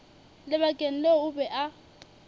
lebakeng leo o be a